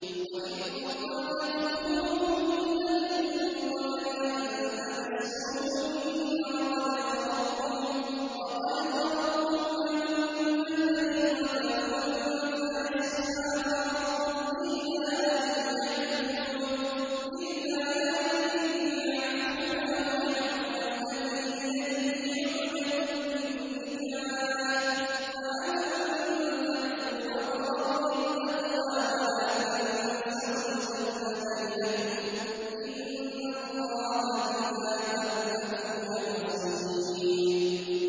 وَإِن طَلَّقْتُمُوهُنَّ مِن قَبْلِ أَن تَمَسُّوهُنَّ وَقَدْ فَرَضْتُمْ لَهُنَّ فَرِيضَةً فَنِصْفُ مَا فَرَضْتُمْ إِلَّا أَن يَعْفُونَ أَوْ يَعْفُوَ الَّذِي بِيَدِهِ عُقْدَةُ النِّكَاحِ ۚ وَأَن تَعْفُوا أَقْرَبُ لِلتَّقْوَىٰ ۚ وَلَا تَنسَوُا الْفَضْلَ بَيْنَكُمْ ۚ إِنَّ اللَّهَ بِمَا تَعْمَلُونَ بَصِيرٌ